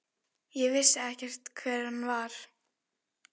Ég vissi ekki hver hann var.